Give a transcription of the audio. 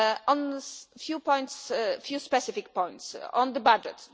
On a few specific points the budget.